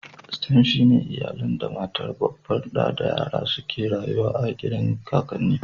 "Stem" shine iyalan da matar babban da da yaran su suke rayuwa a gidan kakanni.